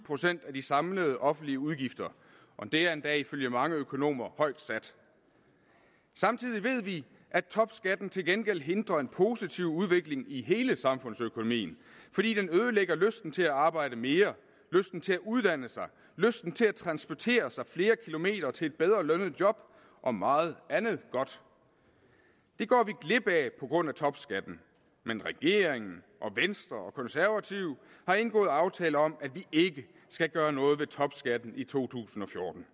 procent af de samlede offentlige udgifter og det er endda ifølge mange økonomer højt sat samtidig ved vi at topskatten til gengæld hindrer en positiv udvikling i hele samfundsøkonomien fordi den ødelægger lysten til at arbejde mere lysten til at uddanne sig lysten til at transportere sig flere kilometer til et bedre lønnet job og meget andet godt det går vi glip af på grund af topskatten men regeringen og venstre og konservative har indgået aftale om at vi ikke skal gøre noget ved topskatten i to tusind og fjorten